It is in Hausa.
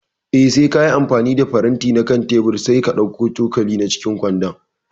Eh, sai kayi amfani da faranti na kan teburin sai ka ɗauko cokali a cikin kwando